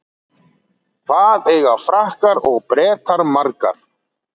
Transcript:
Hvað eiga Frakkar og Bretar margar?